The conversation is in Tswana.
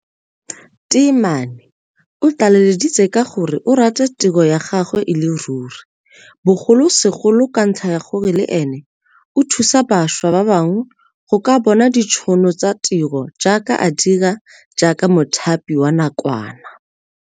Temane o tlaleleditse ka gore o rata tiro ya gagwe e le ruri, bogolosegolo ka ntlha ya gore le ene o thusa bašwa ba bangwe go ka bona ditšhono tsa ditiro jaaka a dira jaaka mothapi wa nakwana.